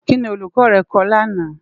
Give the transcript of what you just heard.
Kini Òlúkò rè kò làná?